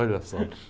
Olha só.